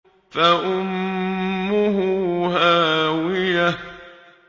فَأُمُّهُ هَاوِيَةٌ